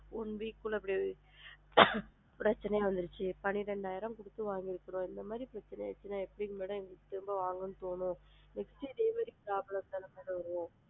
One week குள்ள இப்படி ஆயிருச்சு பன்னிரெண்டாயிரம் குடுத்து வாங்கி இருக்கோம் இந்த மாதிரி பிரச்சனை ஆயிடுச்சுன்னா எப்படி madam எங்களுக்கு திரும்ப வாங்கனும்ன்னு தோணும் next டு இதே மாதிரி problem தான mam வரும்.